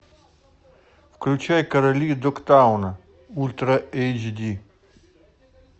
включай короли догтауна ультра эйч ди